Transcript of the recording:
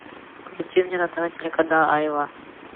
включи мне на тв телеканал айва